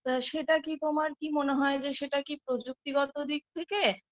তা সেটা কি তোমার কি মনে হয় যে সেটা কি প্রযুক্তিগত দিক থেকে